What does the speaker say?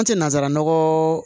An tɛ nansaraw